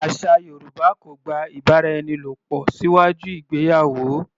Àṣà Yorùbá kò gba ìbáraẹnilòpò síwájú ìgbéyàwó.